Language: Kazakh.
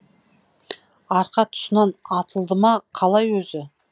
арқа тұсынан атылды ма қалай өзі